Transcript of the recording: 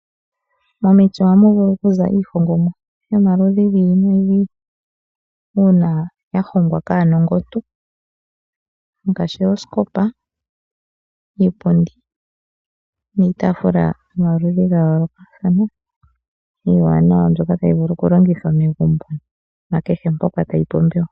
Momiti ohamu vulu okuza iihongomwa yomaludhi giili nogiili uuna yahongwa kaanongontu ngaashi oosikopa, iipundi niitafula nomaludhi gayoolokathana omawanawa taga vulu okulongithwa momagumbo oshowoo pomahala kehe mpoka gapumbiwa.